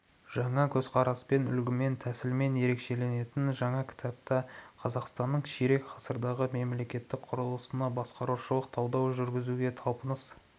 жаңа көзқараспен үлгімен тәсілмен ерекшеленетін жаңа кітапта қазақстанның ширек ғасырдағы мемлекеттік құрылысына басқарушылық талдау жүргізуге талпыныс